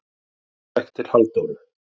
Ari gekk til Halldóru.